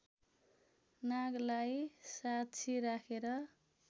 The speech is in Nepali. नागलाई साक्षी राखेर